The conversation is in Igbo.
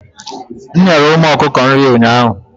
m nyere ụmụ okuko nri ụnyaahụ